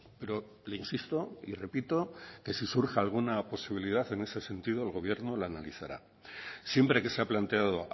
pero le insisto y repito que si surge alguna posibilidad en ese sentido el gobierno la analizará siempre que se ha planteado